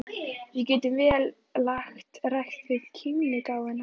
Við getum vel lagt rækt við kímnigáfuna.